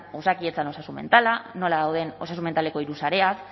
osakidetzan osasun mentala nola dauden osasun mentaleko hiru sareak